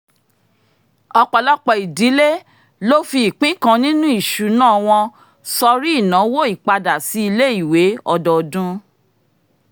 ọ̀pọ̀lọpọ̀ ìdílé ló fi ìpín kan nínu ìṣùnà wọn sọrí ìnáwó ìpadà-sí-ilé-ìwé ọdọọdún